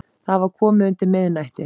Það var komið undir miðnætti.